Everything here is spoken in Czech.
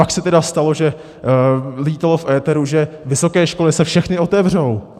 Pak se tedy stalo, že létalo v éteru, že vysoké školy se všechny otevřou.